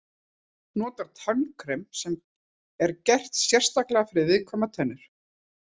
Nota tannkrem sem er gert sérstaklega fyrir viðkvæmar tennur.